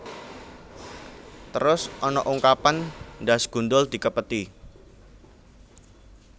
Terus ana ungkapan ndhas gundul dikepeti